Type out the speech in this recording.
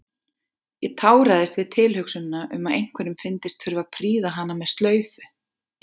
Ég táraðist við tilhugsunina um að einhverjum fyndist þurfa að prýða hana með slaufu.